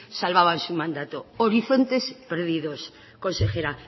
salvaban su mandato horizontes perdidos consejera